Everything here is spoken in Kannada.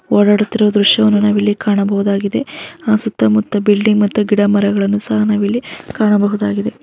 ಓಡಾಡುತ್ತಿರುವ ದೃಶ್ಯವನ್ನು ನಾವಿಲ್ಲಿ ಕಾಣಬಹುದಾಗಿದೆ. ಹಾ ಸುತ್ತ ಮುತ್ತ ಬಿಲ್ಡಿಂಗ್ ಮತ್ತು ಗಿಡ ಮಾಗಳನ್ನು ಸಹ ನಾವಿಲ್ಲಿ ಕಾಣಬಹುದಾಗಿದೆ.